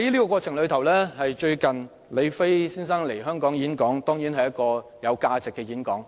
近日，李飛先生來港演講，這當然是一場有價值的演講。